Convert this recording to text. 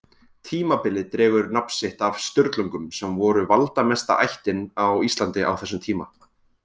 Tímabilið dregur nafn sitt af Sturlungum sem voru valdamesta ættin á Íslandi á þessum tíma.